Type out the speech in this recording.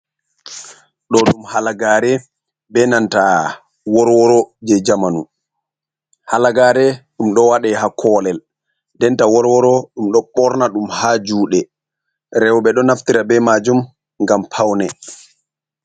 Ɗo ɗum halagare be nantaa worworo je jamanu halagare ɗum ɗo wadei ha kolel denta worworo ɗum ɗo ɓorna ɗum ha juɗe roɓe ɗo naftira be majum ngam paune.